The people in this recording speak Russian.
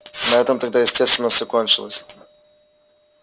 на этом тогда естественно всё кончилось